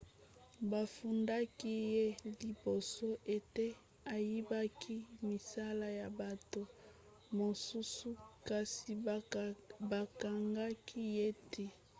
bafundaki ye liboso ete ayibaki misala ya bato mosusu kasi bakangaki ye te